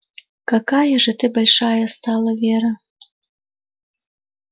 какая же ты большая стала вера